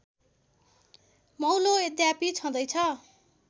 मौलो यद्यापि छँदैछ